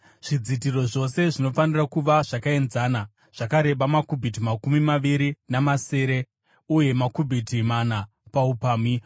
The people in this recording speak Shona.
Zvidzitiro zvose zvinofanira kuva zvakaenzana, zvakareba makubhiti makumi maviri namasere uye makubhiti mana paupamhi.